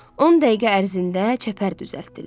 10 dəqiqə ərzində çəpər düzəltdilər.